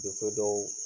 Muso dɔw